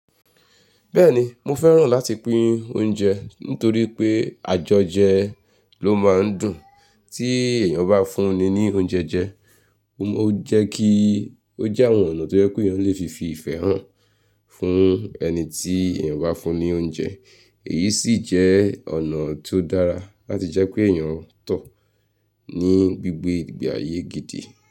Bẹ́ẹ̀ni mo fẹ́ràn láti pín oúnjẹ nítorí pé àjọjẹ ló máa ń dùn tí èèyàn bá fún ni ní oúnjẹ jẹ, ó jẹ́ kí ó jẹ́ àwọn ọ̀nà tó jẹ́ pé èèyàn lè fi fi ìfẹ́ hàn fún ẹni tí èèyàn bá fún ni oúnjẹ èyí sì jẹ́ ọ̀nà tó dára láti jẹ́ pé èèyàn tó ní gbígbé ààyè gidi.